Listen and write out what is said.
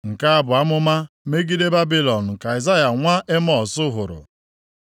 Nke a bụ amụma megide Babilọn nke Aịzaya nwa Emọz hụrụ.